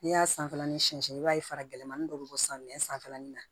N'i y'a sanfɛla ni siɲɛsɛn i b'a ye fara gɛlɛmani dɔ bɛ bɔ san mɛ sanfɛlanin na